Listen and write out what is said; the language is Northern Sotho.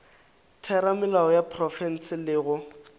theramelao ya profense le go